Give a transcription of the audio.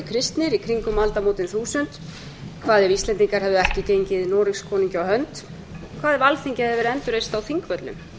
kristnir í kringum aldamótin þúsund hvað ef íslendingar hefðu ekki gengið noregskonungi á hönd hvað ef alþingi hefði verið endurreist á þingvöllum